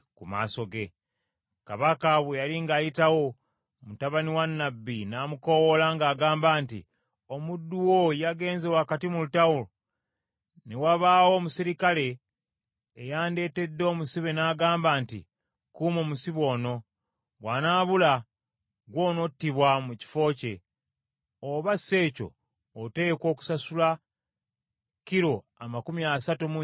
Kabaka bwe yali ng’ayitawo, mutabani wa nnabbi n’amukoowoola ng’agamba nti, “Omuddu wo yagenze wakati mu lutalo, ne wabaawo omuserikale eyandetedde omusibe n’aŋŋamba nti, ‘Kuuma omusajja ono. Bw’anaabula ggw’onottibwa mu kifo kye, oba si kyo oteekwa okusasula kilo amakumi asatu mu nnya eza ffeeza.’